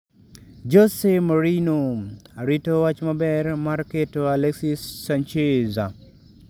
Jose Mourinho: Arito wach maber mar keto Alexis Sanchez